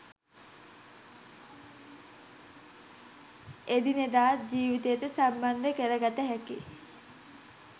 එදිනෙදා ජීවිතයට සම්බන්ධ කරගත හැකි